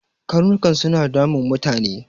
Karnukan suna damun mutane.